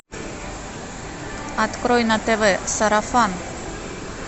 открой на тв сарафан